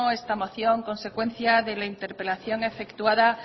esta moción consecuencia de la interpelación efectuada